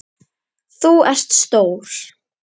Þú ert stór.